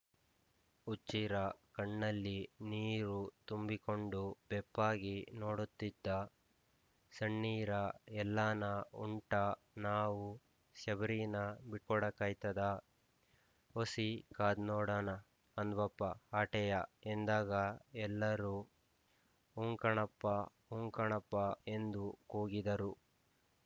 ಹುಚ್ಚೀರ ಕಣ್ಣಲ್ಲಿ ನೀರು ತುಂಬಿಕೊಂಡು ಬೆಪ್ಪಾಗಿ ನೋಡುತ್ತಿದ್ದ ಸಣ್ಣೀರ ಎಲ್ಲಾನ ಉಂಟಾ ನಾವು ಶಬರೀನ ಬಿಟ್ಕೊಡಾಕಾಯ್ತದ ಒಸಿ ಕಾದ್ ನೋಡಾನ ಅಂದ್ವಪ್ಪ ಆಟೇಯ ಎಂದಾಗ ಎಲ್ಲರೂ ಊಂಕಣ ಪ್ಪಾ ಊಂಕಣ ಪ್ಪಾ ಎಂದು ಕೂಗಿದರು